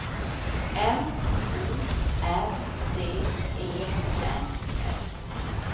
N O R D E N S